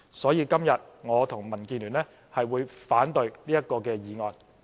所以，今天我和民建聯將會反對這項議案。